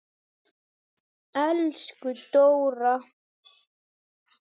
Elsku Dóra.